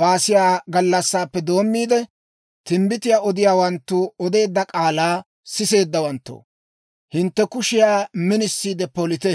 baasiya gallassappe doommiide, timbbitiyaa odiyaawanttu odeedda k'aalaa siseeddawanttoo, hintte kushiyaa minisiide polite.